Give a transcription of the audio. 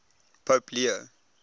pope leo